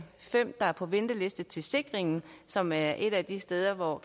fem der er på venteliste til sikringen som er et af de steder hvor